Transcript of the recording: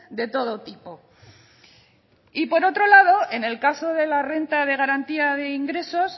de todo tipo por otro lado en el caso de la renta de garantía de ingresos